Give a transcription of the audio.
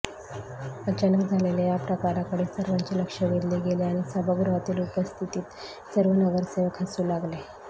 अचानक झालेल्या या प्रकाराकडे सर्वांचे लक्ष वेधले गेले आणि सभागृहातील उपस्थित सर्व नगरसेवक हसू लागले